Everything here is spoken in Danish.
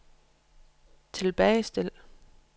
tilbagestil